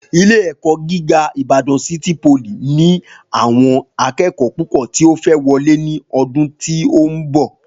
Ilé èkó jìgá ìbàdàn sítí polì ní àwọn akẹẹkọ púpò tí o fẹ wọlé ní ọdún tí o nbọ